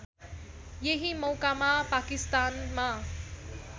यही मौकामा पाकिस्तानमा